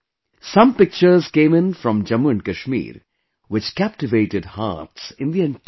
Some pictures came in from Jammu and Kashmir which captivated hearts in the entire country